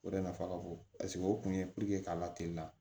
O de nafa ka bon paseke o kun ye k'a lateliya